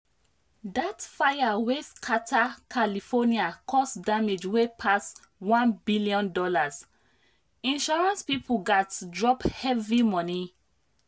that fire wey scatter california cause damage wey pass $1 billion—insurance people gats drop heavy money.